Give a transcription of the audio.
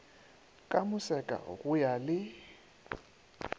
ka moseka go ya le